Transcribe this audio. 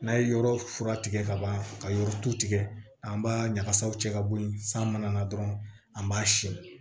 N'a ye yɔrɔ fura tigɛ ka ban ka yɔrɔ tu tigɛ an b'a ɲagasaw cɛ ka bɔ ye san mana na dɔrɔn an b'a siyɛn